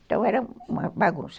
Então, era uma bagunça.